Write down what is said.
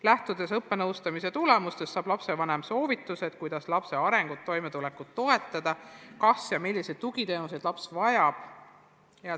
Lähtudes õppenõustamise tulemustest saab lapsevanem soovitused, kuidas lapse arengut, toimetulekut toetada, saab teada, kas üldse ja kui, siis milliseid tugiteenuseid laps vajab.